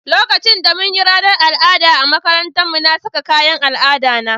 Lokacin da mun yi ranan al'ada a makarantan mu, na sa kayan al'ada na.